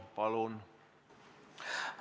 Palun!